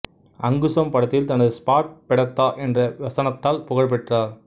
அங்குசம் படத்தில் தனது ஸ்பாட் பெடத்தா என்ற வசனத்தால் புகழ் பெற்றார்